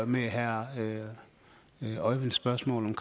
med herre øjvind vilsholms spørgsmål om